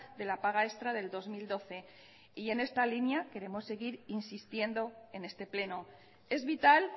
de la paga extra del dos mil doce y en esta línea queremos seguir insistiendo en este pleno es vital